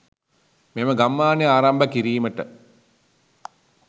මෙම ගම්මානය ආරම්භ කිරීමට